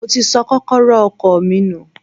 Mo ti sọ kókọ́rọ́ ọkọ̀ mi nù.